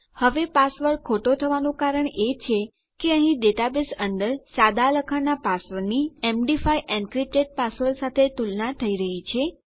હવે પાસવર્ડ ખોટો થવાનું કારણ એ છે કે અહીં ડેટાબેઝ અંદર સાદા લખાણના પાસવર્ડની md5 એન્ક્રિપ્ટેડ પાસવર્ડ સાથે તુલના થઇ રહ્યી છે